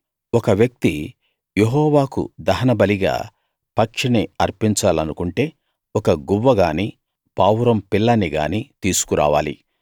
ఒక వ్యక్తి యెహోవాకు దహనబలిగా పక్షిని అర్పించాలనుకుంటే ఒక గువ్వని గానీ పావురం పిల్లని గానీ తీసుకురావాలి